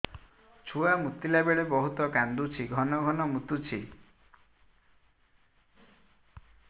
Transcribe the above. ଛୁଆ ମୁତିଲା ବେଳେ ବହୁତ କାନ୍ଦୁଛି ଘନ ଘନ ମୁତୁଛି